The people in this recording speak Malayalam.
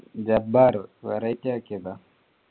ജബ്ബാറ് variety ആക്കിയതാ